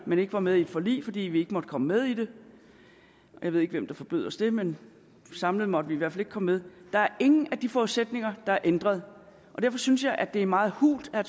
men ikke var med i et forlig fordi vi ikke måtte komme med i det jeg ved ikke hvem der forbød os det men samlet måtte vi i hvert fald ikke komme med der er ingen af de forudsætninger der er ændret og derfor synes jeg det er meget hult af